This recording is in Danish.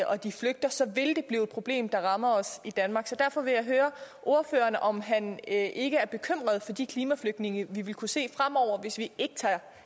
og de flygter så vil lige blive et problem der rammer os i danmark så derfor vil jeg høre ordføreren om han ikke er bekymret for de klimaflygtninge vi vil kunne se fremover hvis vi